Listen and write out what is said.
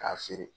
K'a feere